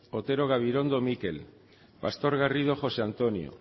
otero gabirondo mikel pastor garrido josé antonio